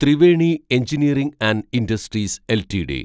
Triveni engineering and industries LTD